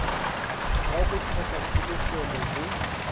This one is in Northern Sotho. ya go hloka kholofelo go